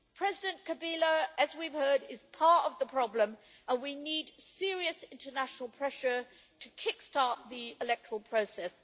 President Kabila, as we have heard, is part of the problem and we need serious international pressure to kick-start the electoral process.